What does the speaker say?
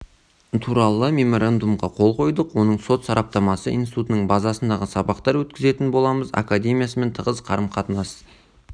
туралы меморандумға қол қойдық оның сот сараптамасы институтының базасында сабақтар өткізетін боламыз академиясымен тығыз қарым-қатынас